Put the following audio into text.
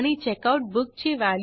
हे आपल्याला बुक्स टेबलमधून मिळेल